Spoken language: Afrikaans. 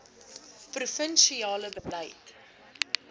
provin siale beleid